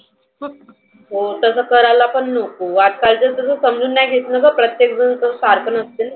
हो तसं करायला पण नको. वाट पाहीची समजुन नाही घेतल तर प्रत्येक जन सारख नसते ना.